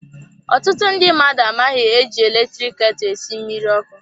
Ọtụtụ ndị mmadụ amaghị eji eletrik ketu esi mmiri ọkụ.